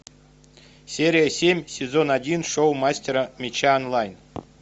серия семь сезон один шоу мастера меча онлайн